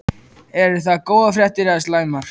Eru það góðar fréttir eða slæmar?